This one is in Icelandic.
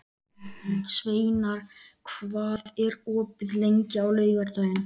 Sveinar, hvað er opið lengi á laugardaginn?